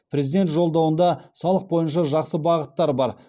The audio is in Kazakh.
президент жолдауында салық бойынша жақсы бағыттар бар